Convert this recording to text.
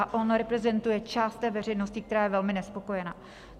A on reprezentuje část té veřejnosti, která je velmi nespokojena.